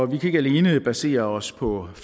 vi kan ikke alene basere os på